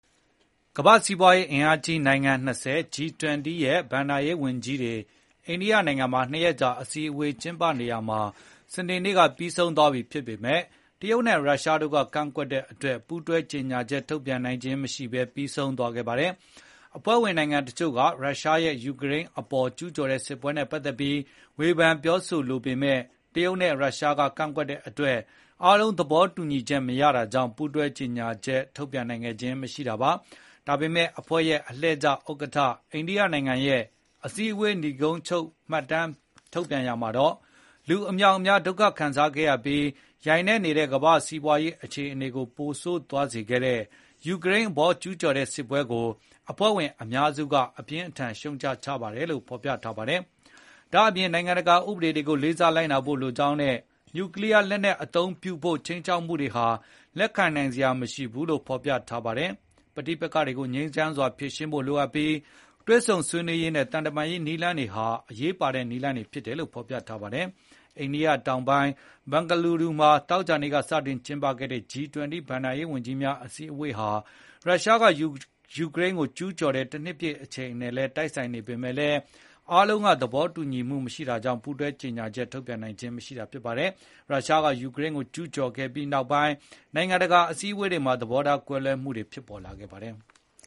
ကမ္ဘာ့စီးပွားရေးအင်အားကြီး နိုင်ငံ ၂၀၊ G-20 ရဲ့ ဘဏ္ဍာရေးဝန်ကြီးတွေအိန္ဒိယနိုင်ငံမှာ ၂ ရက်ကြာအစည်းအဝေးက စနေနေ့မှာပြီးဆုံးသွားပြီဖြစ်ပေမယ့် တရုတ်နဲ့ရုရှားတို့ကကန့်ကွက်တဲ့အတွက် ပူးတွဲကြေညာချက်ထုတ်ပြန်နိုင်ခြင်းမရှိဘဲ ပြီးဆုံးသွားခဲ့ပါတယ်။ အဖွဲ့ဝင်နိုင်ငံတချို့က ရုရှားရဲ့ယူကရိန်းအပေါ် ကျူးကျော်တဲ့စစ်ပွဲနဲ့ ပတ်သက်ပြီး ဝေဖန်ပြောဆိုလိုပေမယ့် တရုတ်နဲ့ရုရှားကကန့်ကွက်တဲ့အတွက် အားလုံးသဘောတူညီချက်မရတာကြောင့် ပူးတွဲကြေညာချက် ထုတ်ပြန်နိုင်ခဲ့ခြင်းမရှိတာပါ။ ဒါပေမယ့် အဖွဲ့ရဲ့လှည့်ကျဥက္ကဋ္ဌ အိန္ဒိယရဲ့အစည်းဝေးနိဂုံးချုပ် မှတ်တမ်းထုတ်ပြန်ရာမှာတော့ လူအမြောက်အများဒုက္ခခံစားခဲ့ရပြီး ယိုင်နည့်နေတဲ့ ကမ္ဘာ့စီးပွားရေးခြေနေကိုပိုဆိုးသွားစေတဲ့ ယူကရိန်းအပေါ်ကျူးကျော်တဲ့စစ်ပွဲကို အဖွဲ့ဝင်အများစုက အပြင်းအထန်ရှုတ်ချကြပါတယ်လို့ ဖေါ်ပြထားပါတယ်။ ဒါ့ပြင် နိုင်ငံတကာဥပဒေတွေကိုလေးစားလိုက်နာဖို့လိုကြောင်းနဲ့ နျူကလီယားလက်နက်အသုံးပြုဖို့ ခြိမ်းခြောက်မှုတွေဟာ လက်ခံနိုင်စရာမရှိဘူးလို့လည်းဖေါ်ပြထားပါတယ်။ ပဋိပက္ခတွေကိုငြိမ်းချမ်းစွာဖြေ ရှင်းဖို့လိုအပ်ပြီး၊ တွေ့ဆုံဆွေးနွေးရေးနဲ့ သံတမန်ရေးနည်းလမ်းတွေဟာ အရေးပါတဲ့နည်းလမ်းတွေဖြစ်တ ယ်လို့ဖေါ်ပြထားပါတယ်။ အိန္ဒိယတောင်ပိုင်း ဘန်ဂလူရူမှာ သောကြာနေ့ကစတင်ကျင်းပခဲ့တဲ့ G-20 ဘဏ္ဍာရေးဝန်ကြီးများအစည်းဝေးဟာ ရုရှားကယူကရိန်းကိုကျူးကျော်တဲ့တနှစ်ပြည့်အချိန်နဲ့တိုက်ဆိုင်နေပေမယ့်လည်း အားလုံး သဘောမတူတာကြောင့် ပူးတွဲကြေညာချက်ထုတ်ပြန်နိုင်ခဲ့ခြင်းမရှိတာပါ။ ရုရှားက ယူကရိန်းကိုကျူးကျော်ခဲ့ပြီးနောက်ပိုင်း နိုင်ငံတကာအစည်းအဝေးတွေမှာ သဘောထားကွဲလွဲမှုတွေဖြစ်ပေါ်လာခဲ့ပါတယ်။